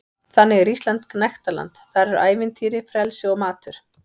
Þannig er Ísland gnægtaland- þar eru ævintýri, frelsi og matur.